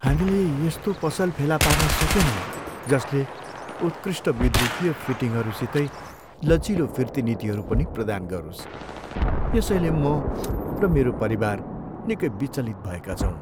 हामीले यस्तो पसल फेला पार्न सकेनौँ जसले उत्कृष्ट विद्युतीय फिटिङ्हरूसितै लचिलो फिर्ती नीतिहरू पनि प्रदान गरोस्, यसैले म र मेरो परिवार निकै विचलित भएका छौँ।